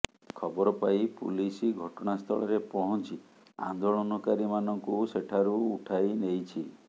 ଖବର ପାଇ ପୁଲିସ ଘଟଣାସ୍ଥଳରେ ପହଞ୍ଚି ଆନ୍ଦୋଳନକାରୀମାନଙ୍କୁ ସେଠାରୁ ଉଠାଇ ନେଇଛି